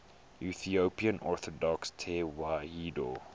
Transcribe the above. ethiopian orthodox tewahedo